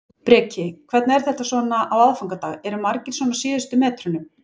Breki: Hvernig er þetta svona á aðfangadag, eru margir svona á síðustu metrunum?